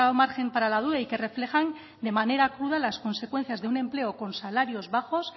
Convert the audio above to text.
margen para la duda y que reflejan de manera cruda las consecuencias de un empleo con salarios bajos